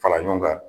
Fara ɲɔgɔn kan